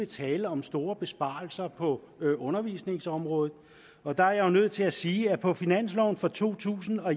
tale om store besparelser på undervisningsområdet og der er jeg nødt til at sige at der på finansloven for to tusind og